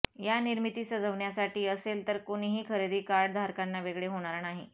या निर्मिती सजवण्यासाठी असेल तर कोणीही खरेदी कार्ड धारकांना वेगळे होणार नाही